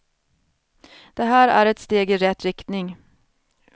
Det här är ett steg i rätt riktning.